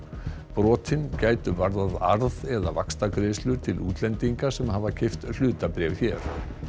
brotin gætu varðað arð eða vaxtagreiðslur til útlendinga sem hafa keypt hlutabréf hér